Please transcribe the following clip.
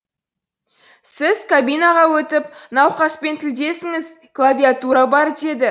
сіз кабинаға өтіп науқаспен тілдесіңіз клавиатура бар деді